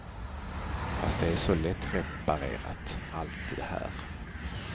Fast det är så lättreparerat, allt det här.